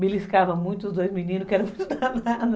Beliscava muito os dois meninos, que eram muito danados